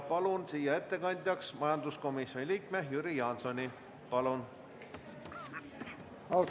Palun ettekandjaks majanduskomisjoni liikme Jüri Jaansoni!